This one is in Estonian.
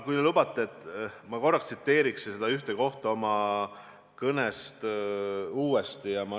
Kui te lubate, siis ma korraks tsiteerin ühte kohta oma kõnest uuesti.